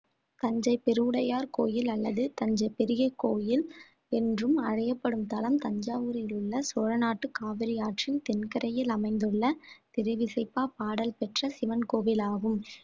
தஞ்சை பெருவுடையார் கோயில் அல்லது தஞ்சை பெரிய கோவில் என்றும் அழையப்படும் தலம் தஞ்சாவூரில் உள்ள சோழநாட்டு காவிரி ஆற்றின் தென்கரையில் அமைந்துள்ள திருவிசைப்பா பாடல் பெற்ற சிவன் கோவில் ஆகும்